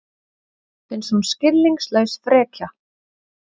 Finnst hún skilningslaus frekja.